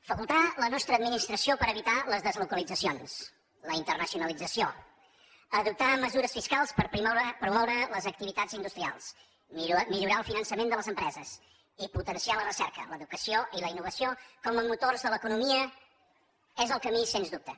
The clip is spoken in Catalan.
facultar la nostra administració per evitar les deslocalitzacions la internacionalització adoptar mesures fiscals per promoure les activitats industrials millorar el finançament de les empreses i potenciar la recerca l’educació i la innovació com motors de l’economia és el camí sens dubte